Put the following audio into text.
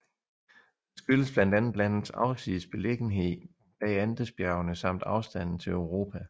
Det skyldes blandt andet landets afsides beliggenhed bag Andesbjergene samt afstanden til Europa